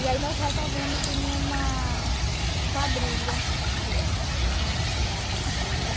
E aí nós resolvemos ir uma quadrilha que tinha na cidade, na rua.